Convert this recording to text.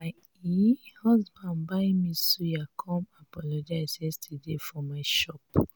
my um husband buy me suya come apologize yesterday for my shop.